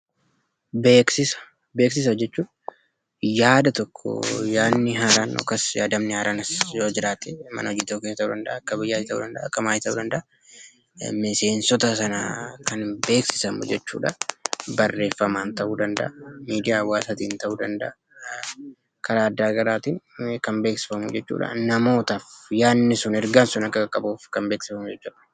Beeksisa. Beeksisa jechuun yaadni haaraan tokko yoo jiratee akka maatii ta'uu danda'a yookiss akka biyyaatti ta'u danda'a miseensoota sana kan beeksisfamuu jechuudha. Barreefaama barreefaamaan ta'u danda'a, midiyaa hawaasaan ta'u danda'a, karaa adagarattin kan beeksifaamuuf jechuudha. Namootaaf yaadni suun yookan ergaan sun akka qaqabu kan beeksifamuu jechuudha.